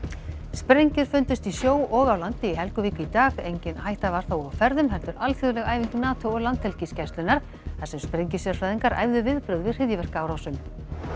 sprengjur fundust í sjó og á landi í Helguvík í dag engin hætta var þó á ferðum heldur alþjóðleg æfing NATO og Landhelgisgæslunnar þar sem sprengjusérfræðingar æfðu viðbrögð við hryðjuverkaárásum